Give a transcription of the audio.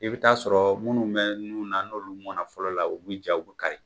I bi taa a sɔrɔ minnu mɛn na nun na n'olu mɔnna fɔlɔ la, olu bi ja, u bi kari.